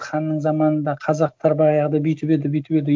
ханның заманында қазақтар баяғыда бүйтіп еді бүйтіп еді